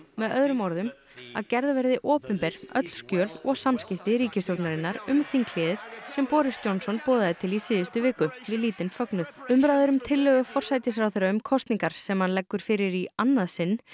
með öðrum orðum að gerð verði opinber öll skjöl og samskipti ríkistjórnarinnar um þinghléið sem Boris Johnson boðaði til í síðustu viku við lítinn fögnuð umræður um tillögu forsætisráðherra um kosningar sem hann leggur fyrir í annað sinn